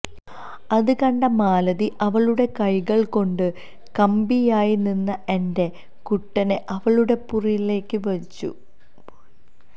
അത് കണ്ട മാലതി അവളുടെ കൈകള് കൊണ്ട് കമ്പിയായി നിന്ന എന്റെ കുട്ടനെ അവളുടെ പൂറിലേക്ക് വച്ചു